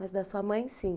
Mas da sua mãe, sim?